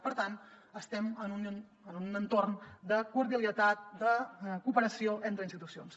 per tant estem en un entorn de cordialitat de cooperació entre institucions